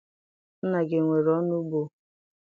Nna gị enwere onugbu?